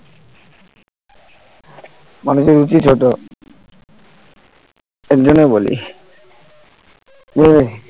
মানুষের রুচি ছোট এর জন্যই বলি যে